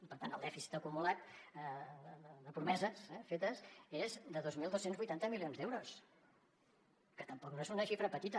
i per tant el dèficit acumulat de promeses fetes és de dos mil dos cents i vuitanta milions d’euros que tampoc no és una xifra petita